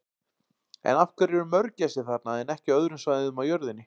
En af hverju eru mörgæsir þarna en ekki á öðrum svæðum á jörðinni?